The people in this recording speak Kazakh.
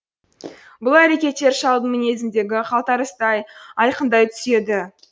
бұл әрекеттер шалдың мінезіндегі қалтарыстай айқындай түседі